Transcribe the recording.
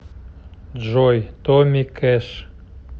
джой томми кэш